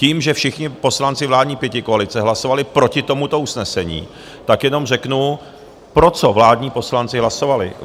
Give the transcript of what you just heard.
Tím, že všichni poslanci vládní pětikoalice hlasovali proti tomuto usnesení, tak jenom řeknu, pro co vládní poslanci hlasovali.